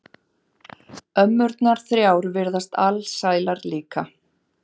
Ömmurnar þrjár virðast alsælar líka.